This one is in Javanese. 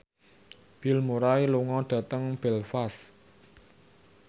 Bill Murray lunga dhateng Belfast